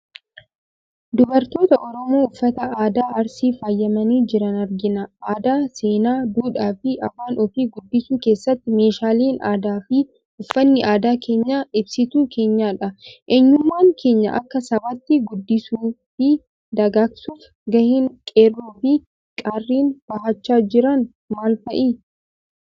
Dubartoota Oromoo uffata aadaa Arsiin faayamanii jiran argina. Aadaa, seenaa, duudhaa fi afaan ofii guddisuu keessatti meeshaaleen aadaa fi uffanni aadaa keenyaa ibsituu keenyadha. Eenyummaa keenya akka sabaatti guddisuu fi dagaagsuuf gaheen qeerroo fi qarreen bahachaa jiran maal fa'i?